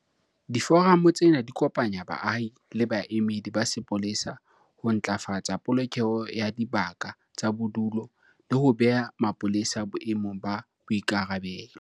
Diforamo tsena di kopanya baahi le baemedi ba sepolesa ho ntlafatsa polokeho ya dibaka tsa bodulo le ho beha mapolesa boemong ba boikarabelo.